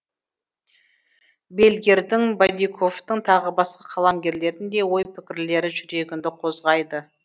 бельгердің бадиковтың тағы басқа қаламгерлердің де ой пікірлері жүрегіңді қозғайды